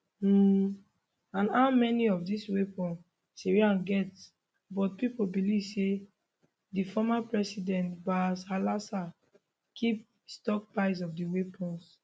um and how many of dis weapons syria get but pipo believe say di former president bashar alassad keep stockpiles of di weapons